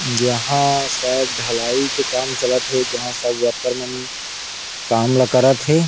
यहाँ शायद ढलाई के काम चलत थे जहाँ सब वर्कर मन काम ला करत थे।